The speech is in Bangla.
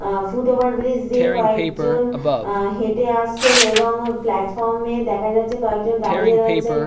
কয়েকটি মাল গাড়ি দাঁড়িয়ে রয়েছে প্লাটফর্ম -এ এবং একটি মিডল -এর লাইন দেখা যাচ্ছে যেটি সম্পূর্ণ ফাঁকা।